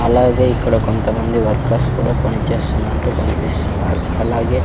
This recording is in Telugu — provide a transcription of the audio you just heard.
అలాగే ఇక్కడ కొంతమంది వర్కర్స్ కుడా పనిచేస్తున్నట్టు కనిపిస్తున్నారు అలాగే--